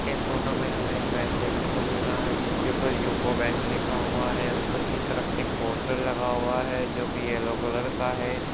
इस फोटो में हमें एक बैंक देखने को मिल रहा है जिसके ऊपर यूको बैंक लिखा हुआ है ऊपर तरफ एक पोस्टर लगा हुआ है जोकि येलो कलर का है।